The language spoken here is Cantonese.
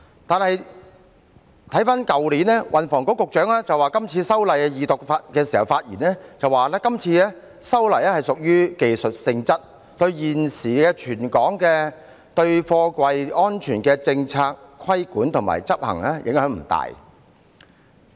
但是，去年運輸及房屋局局長曾就今次修例表示，今次修例屬於技術性質，對現時全港的貨櫃安全政策、規管和執行影響不大。